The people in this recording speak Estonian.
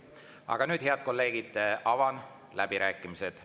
Aga nüüd, head kolleegid, avan läbirääkimised.